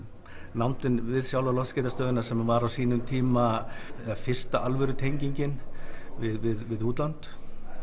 nándin við sjálfa lofskeytastöðina sem var á sínum tíma fyrsta alvöru tengingin við útlönd